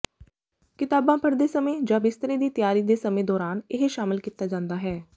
ਕਿਤਾਬਾਂ ਪੜ੍ਹਦੇ ਸਮੇਂ ਜਾਂ ਬਿਸਤਰੇ ਦੀ ਤਿਆਰੀ ਦੇ ਸਮੇਂ ਦੌਰਾਨ ਇਹ ਸ਼ਾਮਲ ਕੀਤਾ ਜਾਂਦਾ ਹੈ